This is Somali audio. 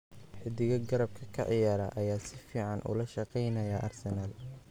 Xiddiga garabka ka ciyaara ayaa si fiican ula shaqeynaya Arsenal.